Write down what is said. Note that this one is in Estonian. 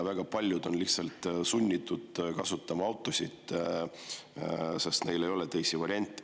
Väga paljud on lihtsalt sunnitud autot kasutama, sest neil ei ole teisi variante.